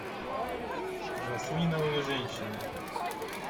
жасминовые женщины